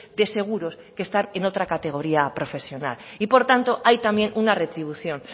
de seguros que están en otra categoría profesional y por tanto también hay una retribución